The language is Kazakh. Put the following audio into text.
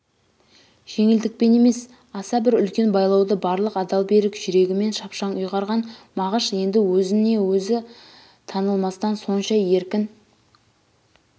жеңілдікпен емес аса бір үлкен байлауды барлық адал берік жүрегімен шапшаң ұйғарған мағыш енді өзіне-өзі танылмастан сонша еркін